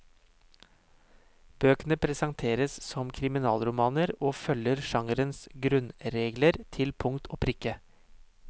Bøkene presenteres som kriminalromaner og følger genrens grunnregler til punkt og prikke.